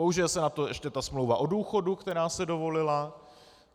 Použije se na to ještě ta smlouva o důchodu, která se dovolila.